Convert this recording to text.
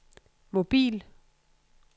mobil